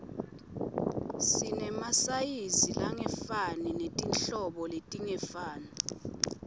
sinemasayizi langefani netinhlobo letingafani